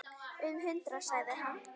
Um hundrað sagði hann.